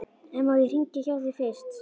En má ég hringja hjá þér fyrst?